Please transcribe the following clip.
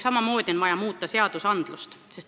Samamoodi on vaja muuta seadusi.